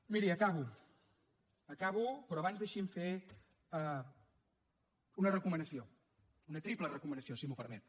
miri acabo acabo però abans deixi’m fer una recomanació una triple recomanació si m’ho permet